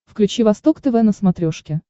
включи восток тв на смотрешке